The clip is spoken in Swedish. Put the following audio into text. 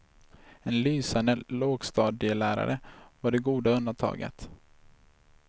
En lysande lågstadielärare var det goda undantaget.